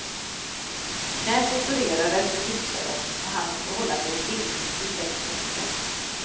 Knät opererades och gipsades och han måste hålla sig i stillhet i sex veckor.